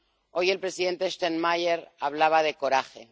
Hoy el presidente Steinmeier hablaba de coraje.